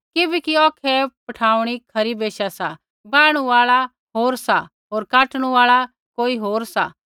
किबैकि औखै ऐ पड़ाउण खरी बैशा सा वाहणु आल़ा होर सा होर काटणू आल़ा कोई होर सा